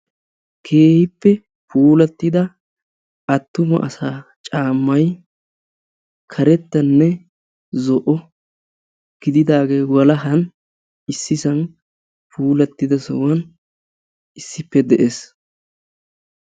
Keehippe puulattida attuma asaa caammay karettanne zo'o gididaage walahan issisan puulattidasohan issippe de'ees.